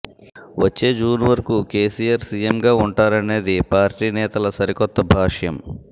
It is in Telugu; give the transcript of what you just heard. వచ్చే జూన్ వరకు కేసీఆర్ సీఎంగా ఉంటారనేది పార్టీ నేతల సరికొత్త భాష్యం